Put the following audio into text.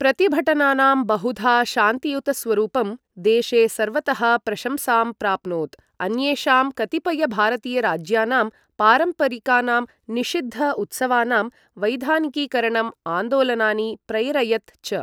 प्रतिभटनानां बहुधा शान्तियुतस्वरूपं देशे सर्वतः प्रशंसां प्राप्नोत्, अन्येषां कतिपय भारतीय राज्यानां पारम्परिकानां निषिद्ध उत्सवानां वैधानिकीकरण आन्दोलनानि प्रैरयत् च।